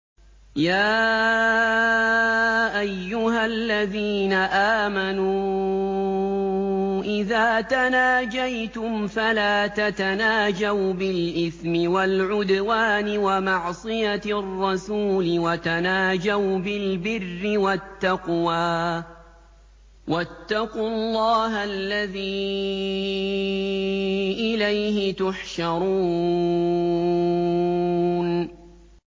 يَا أَيُّهَا الَّذِينَ آمَنُوا إِذَا تَنَاجَيْتُمْ فَلَا تَتَنَاجَوْا بِالْإِثْمِ وَالْعُدْوَانِ وَمَعْصِيَتِ الرَّسُولِ وَتَنَاجَوْا بِالْبِرِّ وَالتَّقْوَىٰ ۖ وَاتَّقُوا اللَّهَ الَّذِي إِلَيْهِ تُحْشَرُونَ